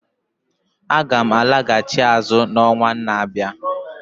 Aga m alaghachi azụ n'ọnwa na-abịa.